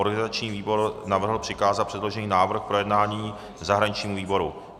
Organizační výbor navrhl přikázat předložený návrh k projednání zahraničnímu výboru.